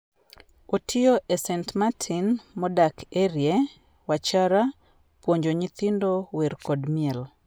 Otiyo e St. Martin, modak Erie, Wachara, puonjo nyithindo wer kod miel.